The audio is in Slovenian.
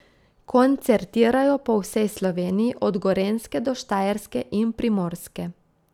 Koncertirajo po vsej Sloveniji, od Gorenjske do Štajerske in Primorske.